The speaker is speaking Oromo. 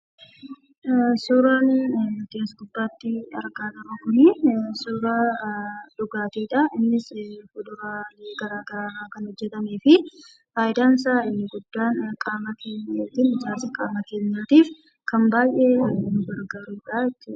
Suuraan nuti as gubbaatti argaa jirru kun, suuraa dhugaatiidha. Innis fuduraalee garagaraarraa kan hojjatameefi fayidaansaa inni guddaan qaama keenyaatiif, ijaarsa qaama keenyaatiif baayyee kan gargaaru jechuudha.